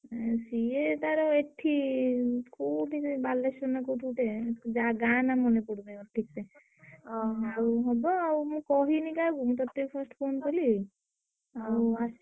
ସିଏ ତାର ଏଠି କୋଉଠି ସେଇ ବାଲେଶ୍ୱର ନା କୋଉଠି ଗୋଟେ ଜା ଗାଁ ନାଁ ମନେ ପଡୁନାଇ ଠିକ୍ ସେ। ଆଉ ହବ ଆଉ ମୁଁ କହିନି କାହାକୁ ମୁଁ ତତେ first phone କଲି ଆଉ।